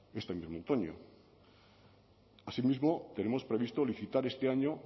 este mismo otoño asimismo tenemos previsto licitar este año